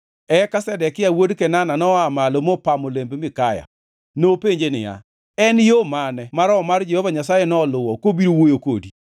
Eka Zedekia wuod Kenana noa malo mopamo lemb Mikaya. Nopenje niya, “En yo mane ma Roho mar Jehova Nyasaye noluwo kobiro wuoyo kodi?”